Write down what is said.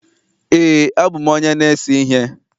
Ee, abụ m onye na-ese ihe